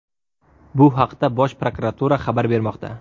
Bu haqda Bosh prokuratura xabar bermoqda .